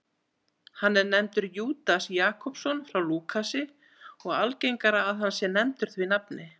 Hann er nefndur Júdas Jakobsson hjá Lúkasi og algengara að hann sé nefndur því nafni.